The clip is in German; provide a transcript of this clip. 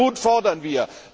Und diesen Mut fordern wir!